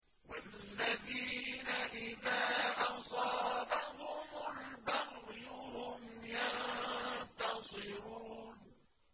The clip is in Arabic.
وَالَّذِينَ إِذَا أَصَابَهُمُ الْبَغْيُ هُمْ يَنتَصِرُونَ